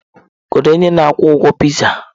Kedu onye na-akwụ ụgwọ pịzaa?